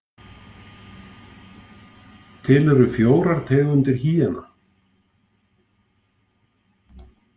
Til eru fjórar tegundir hýena.